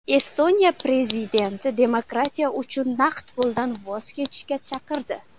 Estoniya prezidenti demokratiya uchun naqd puldan voz kechishga chaqirdi .